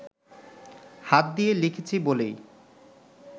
হাত দিয়ে লিখেছি বলেই